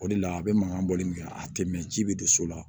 O de la a bɛ mankan bɔli min kɛ a tɛ mɛn ji bɛ don so la